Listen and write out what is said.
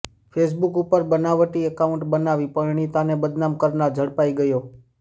Facebook ઉપર બનાવટી account બનાવી પરિણીતાને બદનામ કરનાર ઝડપાઈ ગયો